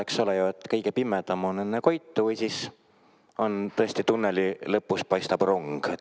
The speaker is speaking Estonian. Eks ole ju, kõige pimedam on enne koitu või siis tõesti tunneli lõpus paistab rong.